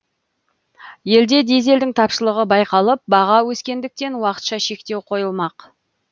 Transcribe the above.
елде дизельдің тапшылығы байқалып баға өскендіктен уақытша шектеу қойылмақ